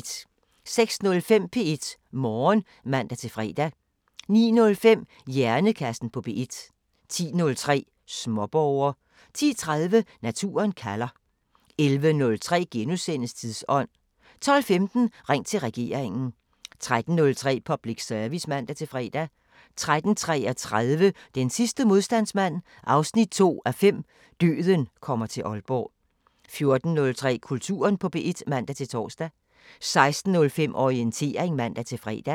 06:05: P1 Morgen (man-fre) 09:05: Hjernekassen på P1 10:03: Småborger 10:30: Naturen kalder 11:03: Tidsånd * 12:15: Ring til regeringen 13:03: Public Service (man-fre) 13:33: Den sidste modstandsmand 2:5 – Døden kommer til Aalborg 14:03: Kulturen på P1 (man-tor) 16:05: Orientering (man-fre)